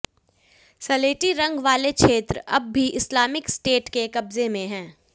सलेटी रंग वाले क्षेत्र अब भी इस्लामिक स्टेट के कब्जे में हैं